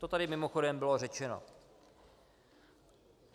To tady mimochodem bylo řečeno.